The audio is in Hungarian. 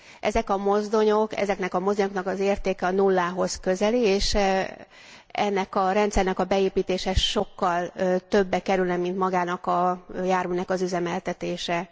Ezeknek a mozdonyoknak az értéke a nullához közeli, és ennek a rendszernek a beépítése sokkal többe kerülne, mint magának a járműnek az üzemeltetése.